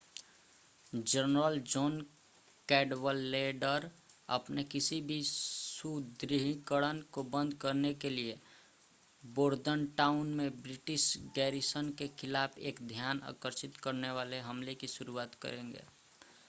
general John Cadwalader अपने किसी भी सुदृढ़ीकरण को बंद करने के लिए बोर्दनटाउन में ब्रिटिश गैरीसन के ख़िलाफ़ एक ध्यान आकर्षित करने वाले हमले की शुरुआत करेंगे